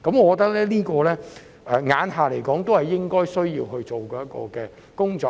按照現時的情況，這些是政府需要做的工作。